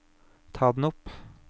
ta den opp